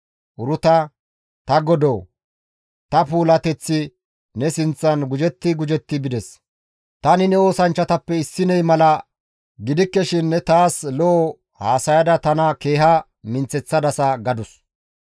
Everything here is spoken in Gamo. Uruta, «Ta godoo, ta puulateththi ne sinththan gujetti gujetti bides; tani ne oosanchchatappe issiney mala gidikke shin ne taas lo7o haasayada tana keeha minththeththadasa» gadus.